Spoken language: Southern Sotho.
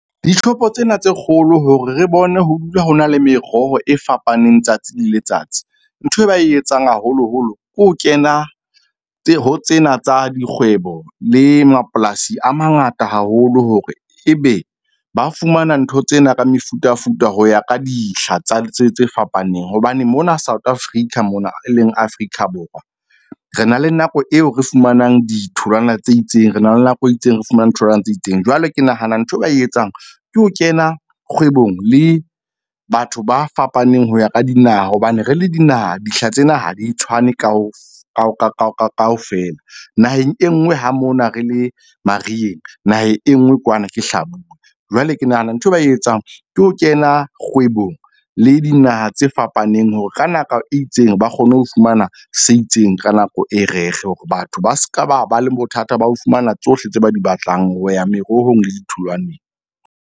Di-shop-o tsena tse kgolo hore re bone ho dula ho na le meroho e fapaneng tsatsi le letsatsi. Nthwe ba e etsang haholoholo ke ho kena ho tsena tsa dikgwebo le mapolasi a mangata haholo hore ebe ba fumana ntho tsena ka mefutafuta ho ya ka dihla tsa tse fapaneng. Hobane mona South Africa mona e leng Afrika Borwa, re na le nako eo re fumanang ditholwana tse itseng, re na le nako e itseng, re fumane tholwana tse itseng. Jwale ke nahana ntho eo ba e etsang ke ho kena kgwebong le batho ba fapaneng ho ya ka dinaha. Hobane re le dinaha, dihla tsena ha di tshwane kaofela naheng e nngwe ha mona re le mariheng naheng e nngwe kwana ke hlabula. Jwale ke nahana nthwe ba e etsang ke ho kena kgwebong le dinaha tse fapaneng hore ka naka e itseng, ba kgone ho fumana se itseng ka nako e reg-e hore batho ba ska ba ba le bothata ba ho fumana tsohle tse ba di batlang ho ya merohong le ditholwaneng.